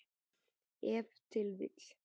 Ef til vill.